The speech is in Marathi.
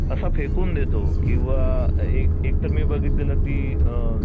असा फेकून देतो की अ एक एकतर मी बघितलेलं ते